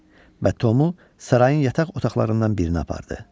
və Tomu sarayın yataq otaqlarından birinə apardı.